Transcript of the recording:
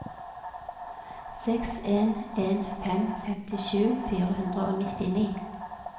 seks en en fem femtisju fire hundre og nittini